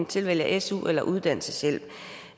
tilvælge su eller uddannelseshjælp